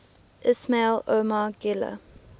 ismail omar guelleh